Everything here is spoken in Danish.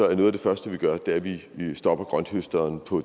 er noget af det første vi gør at vi stopper grønthøsteren på